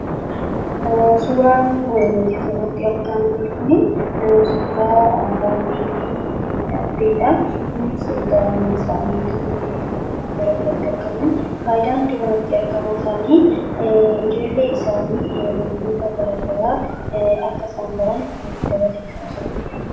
Suuraan nuti asirratti argaa jirru kun suuraa harmee fi abbaadha. Innis egaa ilmaan isaanii biratti argamu. Fayidaan daa'ima biratti argamu isaanii wantoota garaagaraa akka isaan baran gargaara.